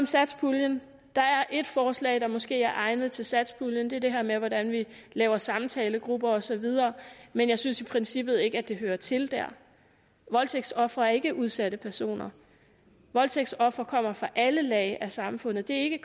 satspuljen der er ét forslag der måske er egnet til satspuljen det er det her med hvordan vi laver samtalegrupper og så videre men jeg synes i princippet ikke at det hører til der voldtægtsofre er ikke udsatte personer da voldtægtsofre kommer fra alle lag af samfundet det er ikke